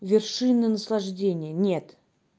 вершины наслаждения нет